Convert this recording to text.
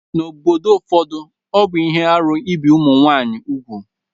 N'obodo ụfọdụ, ọ bụ ihe arụ ibi ụmụ nwaanyị úgwù